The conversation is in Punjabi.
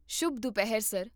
ਸ਼ੁਭ ਦੁਪਹਿਰ, ਸਰ